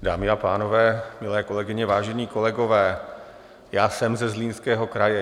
Dámy a pánové, milé kolegyně, vážení kolegové, já jsem ze Zlínského kraje.